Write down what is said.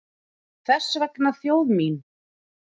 Þess vegna þjóð mín!